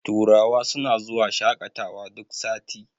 turawa suna zuwa shaƙatawa duk sati